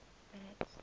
brits